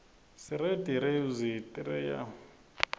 sireti rewdzi tetiryanekuane